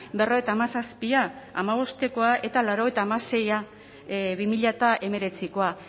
berrogeita hamazazpia hamabostekoa eta laurogeita hamaseia bi mila hemeretzikoa